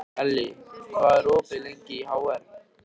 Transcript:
Elli, hvað er opið lengi í HR?